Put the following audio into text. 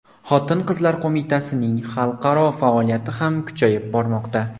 Xotin-qizlar qo‘mitasining xalqaro faoliyati ham kuchayib bormoqda.